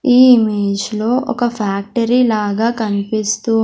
ఈ ఇమేజ్ లో ఒక ఫ్యాక్టరీ లాగా కన్పిస్తూ--